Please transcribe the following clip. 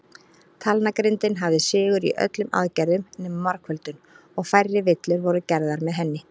Talnagrindin hafði sigur í öllum aðgerðum nema margföldun, og færri villur voru gerðar með henni.